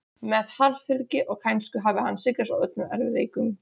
Með harðfylgi og kænsku hafði hann sigrast á öllum erfiðleikum.